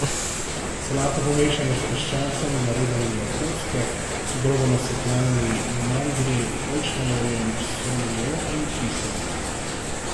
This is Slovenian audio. Solato pomešamo s piščancem narezanim na kocke, grobo nasekljanimi mandlji, oljčnim oljem, soljo in kisom.